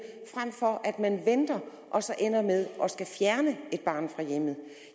frem for at man venter og så ender med at skulle fjerne et barn fra hjemmet